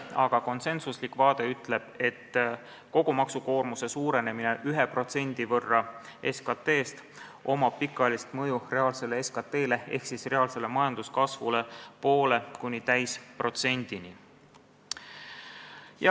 Aga konsensuslik vaade ütleb, et kui kogu maksukoormus suureneb 1% SKT-st, siis sellel on pikaajaline mõju reaalsele SKT-le ehk reaalsele majanduskasvule vahemikus 0,5%–1%.